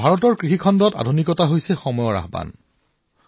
ভাৰতৰ কৃষি খণ্ডত আধুনিকতা সময়ৰ আহ্বান